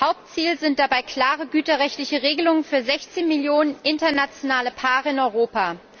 Hauptziel sind dabei klare güterrechtliche Regelungen für 16 Millionen internationale Paare in Europa.